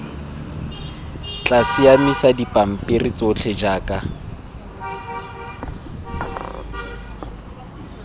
tla siamisa dipampiri tsotlhe jaaka